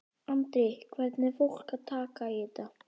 Andri: Hvernig er fólk að taka í þetta?